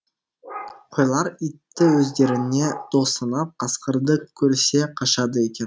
қойлар итті өздеріне дос санап қасқырды көрсе қашады екен